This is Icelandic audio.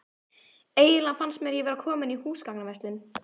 Eiginlega fannst mér ég vera komin í húsgagnaverslun.